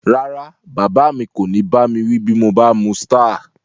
Rárá, bàbá mi kò ní bá mi wí bí mo bá mu Star